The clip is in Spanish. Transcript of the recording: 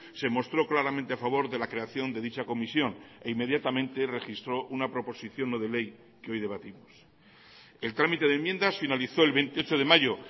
se mostró claramente a favor de la creación de dicha comisión e inmediatamente registró una proposición no de ley que hoy debatimos el trámite de enmiendas finalizó el veintiocho de mayo